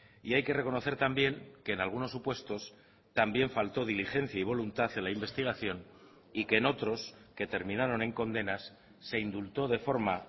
y hay que reconocer también que en algunos supuestos también falto diligencia y voluntad en la investigación y que en otros que terminaron en condenas se indultó de forma